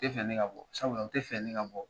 Tɛ fɛ ne ka bɔ sabula u tɛ fɛ ne ka bɔ